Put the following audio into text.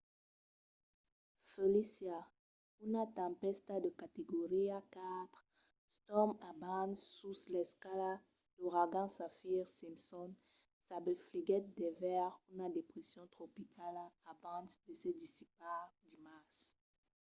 felicia una tempèsta de categoria 4 storm abans sus l'escala d'auragans saffir-simpson s'afebliguèt devers una depression tropicala abans de se dissipar dimars